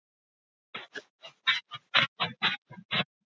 Viltu ekki bara setjast hjá pabba og afa?